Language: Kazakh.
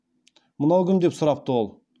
мынау кім деп сұрапты ол